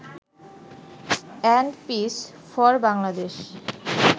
and peace for Bangladesh